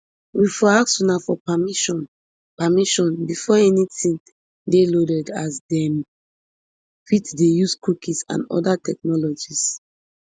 we ask for una permission permission before anytin dey loaded as dem fit dey use cookies and oda technologies